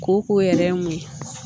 Kooko yɛrɛ ye mun ye